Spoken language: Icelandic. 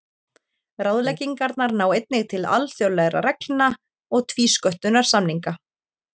Ráðleggingarnar ná einnig til alþjóðlegra reglna og tvísköttunarsamninga.